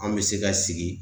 An bɛ se ka sigi